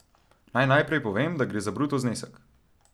Naj najprej povem, da gre za bruto znesek.